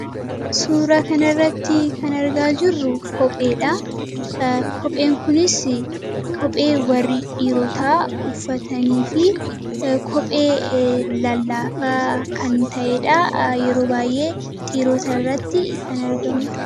Suura kan irratti kan argaa jirru kopheedha. kopheen kunis kophee warri dhiirootaa uffatanii fi kophee lallaafaa kan ta'eedha. Yeroo baay'ee dhiirota irratti kan argamudha.